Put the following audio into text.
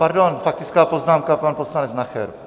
Pardon, faktická poznámka pan poslanec Nacher.